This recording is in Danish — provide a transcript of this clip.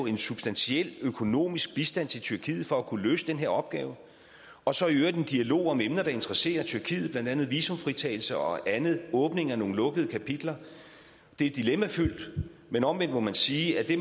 en substantiel økonomisk bistand til tyrkiet for at kunne løse den her opgave og så i øvrigt en dialog om emner der interesserer tyrkiet blandt andet visumfritagelse og andet åbning af nogle lukkede kapitler det er dilemmafyldt men omvendt må man sige at det